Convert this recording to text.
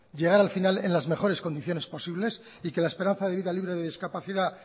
llegar al final en las mejores condiciones posibles y que la esperanza de vida libre de discapacidad